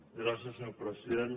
gràcies senyor president